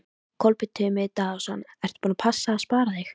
Kolbeinn Tumi Daðason: Ertu búin að passa að spara þig?